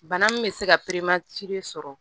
Bana min bɛ se ka sɔrɔ